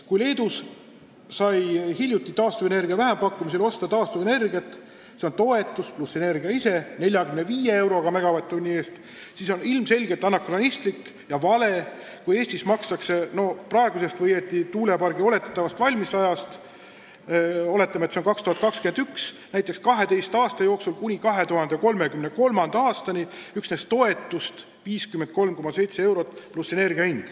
Kui Leedus sai hiljuti taastuvenergia vähempakkumisel osta taastuvenergiat – s.o toetus pluss energia ise – 45 euroga megavatt-tunni eest, siis on ilmselgelt anakronistlik ja vale, kui Eestis makstakse tuulepargi valmimise ajast – oletame, et see on aasta 2021 – näiteks 12 aasta jooksul ehk kuni 2033. aastani üksnes toetust 53,7 eurot, millele lisandub energia hind.